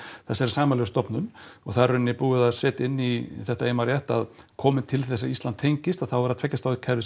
þessari sameiginlegu stofnun og það er í rauninni búið að setja inn í þetta ef ég man rétt að komi til þess að Ísland tengist að þá er það tveggja stoða kerfið sem